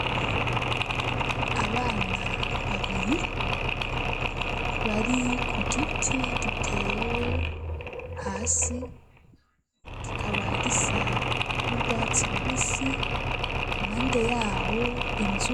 Abana babiri, bari ku giti giteye hasi, gikaba gisa n'urwatsi rubisi, impande yaho inzu.